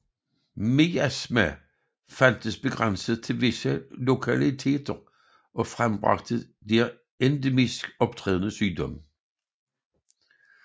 Miasma fandtes begrænset til visse lokaliteter og frembragte der endemisk optrædende sygdom